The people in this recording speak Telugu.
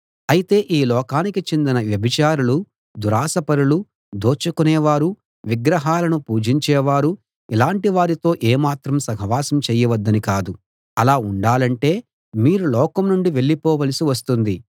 అయితే ఈ లోకానికి చెందిన వ్యభిచారులు దురాశపరులు దోచుకునే వారు విగ్రహాలను పూజించేవారు ఇలాటి వారితో ఏ మాత్రం సహవాసం చేయవద్దని కాదు అలా ఉండాలంటే మీరు లోకం నుండి వెళ్ళిపోవలసి వస్తుంది